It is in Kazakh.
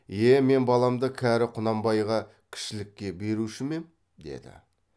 е мен баламды кәрі құнанбайға кішілікке беруші ме ем деді